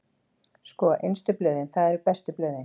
Sko, innstu blöðin, það eru bestu blöðin.